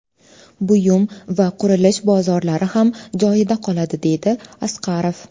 Buyum va qurilish bozorlari ham joyida qoladi”, deydi Asqarov.